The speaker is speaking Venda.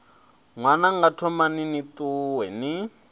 ṅwananga thomani ni ṱuwe ni